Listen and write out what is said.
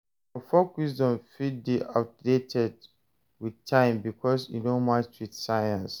Some folk wisdom fit de outdated with time because e no match with science